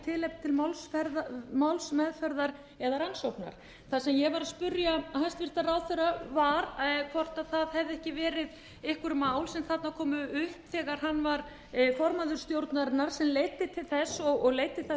tilefni til málsmeðferðar eða rannsóknar það sem ég var að spyrja hæstvirtan ráðherra um var hvort það hefðu ekki verið einhver mál sem þarna komu upp þegar hann var formaður stjórnarinnar sem leiddi til þess og leiddi þær